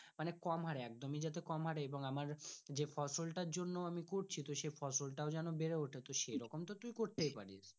মনে কম হরে একদমই এবং আমার যে ফসল তার জন্য করছি আমি করছি সেই ফসল তাও যেন বেড়ে ওঠে তো সেইরকম তো তুই করতে পারিস।